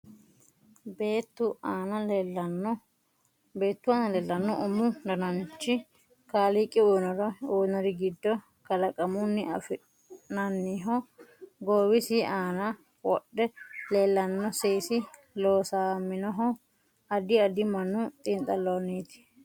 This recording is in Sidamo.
Beetu aana leelanno umu dananichi kaliiqi uyiinori giddo kalaqamuni afn'naniho goowisi aana wodhe leelanno seesi loosaminohu addi addi mannu xiinxaloniiti